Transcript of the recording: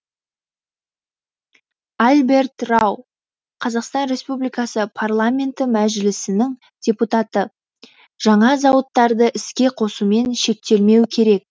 альберт рау қазақстан республикасы парламенті мәжілісінің депутаты жаңа зауыттарды іске қосумен шектелмеу керек